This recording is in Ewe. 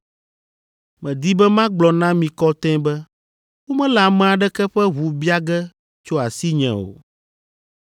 Medi be magblɔ na mi kɔtɛe be womele ame aɖeke ƒe ʋu bia ge tso asinye o,